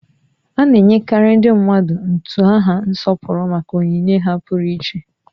A na-enyekarị ndị mmadụ utu aha nsọpụrụ maka onyinye ha pụrụiche